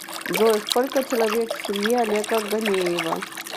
джой сколько человек в семье олега ганеева